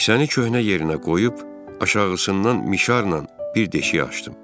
Kisəni köhnə yerinə qoyub aşağısından mişarla bir deşik açdım.